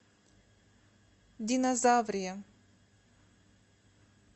динозаврия